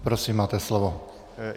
Prosím, máte slovo.